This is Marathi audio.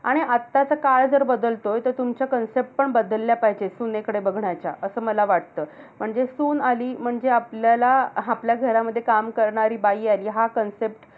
आणि आत्ताचा काळ जर बदलतोय. तर तुमच्या concept पण बदलल्या पाहिजे, सुनेकडे बघण्याच्या. असं मला वाटतं. म्हणजे सून आली, म्हणजे आपल्याला आपल्या घरामध्ये काम करणारी बाई आली. हा concept.